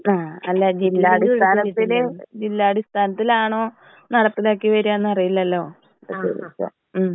അല്ല ജില്ലാ അടിസ്ഥാനത്തിൽ ജില്ലാ അടിസ്ഥാനത്തിലാണോ നടപ്പിലാക്കി വരാന്ന് അറിയില്ലല്ലോ. അതാ ചോദിച്ചേ. ഉം.